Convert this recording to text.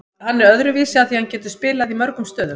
Hann er öðruvísi af því að hann getur spilað í mörgum stöðum.